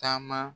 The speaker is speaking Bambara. Taama